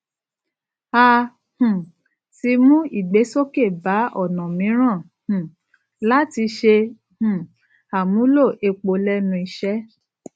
a um ti mú ìgbésókè bá ònà míràn um láti ṣe um àmúlò epo lénu iṣé